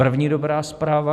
První dobrá zpráva.